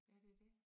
Ja det dét